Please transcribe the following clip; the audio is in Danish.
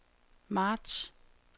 marts